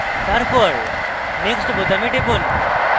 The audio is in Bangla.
তারপর next বোতামে টিপুন